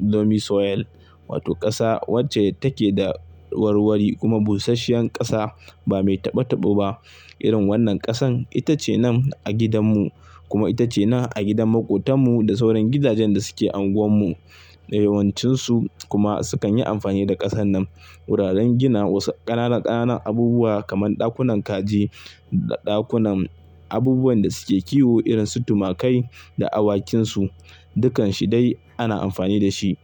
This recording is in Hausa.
lomi soil. Wato ƙasa wacce take da warwari kuma busasshen ƙasa ba mai taɓe taɓo ba. Irin wannan ƙasan ita ce nan a gidanmu kuma ita ce nan a gidan maƙotanmu da sauran gidajen da suke anguwanmu. Da yawancinsu kuma sukan yi amfani da ƙasan nan. Wuraren gina wasu ƙananan ƙananan abubuwa kamar ɗakunan kaji da ɗakunan abubuwan da suke kiwo irin su tumakai da awakinsu. Dukanshi dai ana amfani da shi.